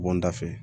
Bɔ n da fɛ